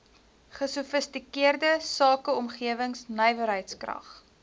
gesofistikeerde sakeomgewing nywerheidskrag